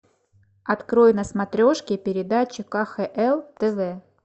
открой на смотрешке передачу кхл тв